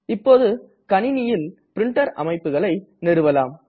இப்போது கணினியில் பிரின்டர் அமைப்புகளை நிறுவலாம்